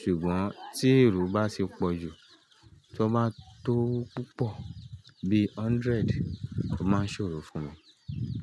Ṣùgbọ́n tí èrò bá ṣe pọ̀ jù, tí wọ́n bá tó púpọ̀, bí hundred, o máa ń ṣòro fún wọn.